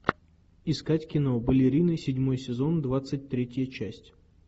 искать кино балерины седьмой сезон двадцать третья часть